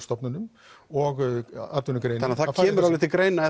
stofnunum og atvinnugreininni þannig það kemur alveg til greina